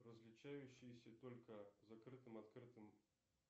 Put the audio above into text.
различающиеся только закрытым открытым